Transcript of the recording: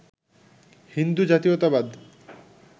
হিন্দু জাতীয়তাবাদ